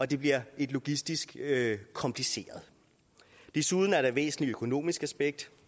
det bliver logistisk kompliceret desuden er der et væsentligt økonomisk aspekt